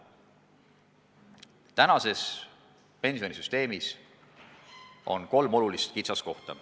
Praeguses pensionisüsteemis on kolm suurt kitsaskohta.